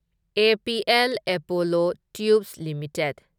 APL Apollo Tubes limited